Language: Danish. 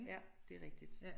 Ja det rigtigt